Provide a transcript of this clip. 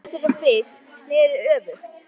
Magga, sem var létt eins og fis, sneri öfugt.